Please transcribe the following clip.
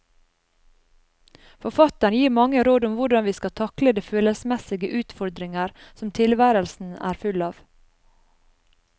Forfatteren gir mange råd om hvordan vi skal takle de følelsesmessige utfordringer som tilværelsen er full av.